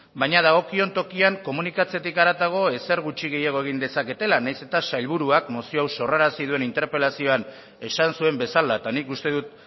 baina dagokion tokian komunikatzetik haratago ezer gutxi gehiago ezer gutxi gehiago egin dezaketela nahiz eta sailburuak mozio hau sorrarazi duen interpelazioan esan zuen bezala eta nik uste dut